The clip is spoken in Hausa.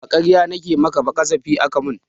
Ba ƙarya nike maka ba ƙazafi aka mun